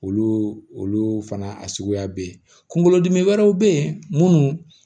Olu olu fana a suguya bɛ ye kunkolodimi wɛrɛw bɛ ye munnu